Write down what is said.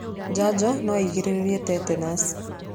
Njanjo no ĩgirĩrĩrie tetanus.